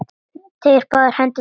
Teygir báðar hendur til hans.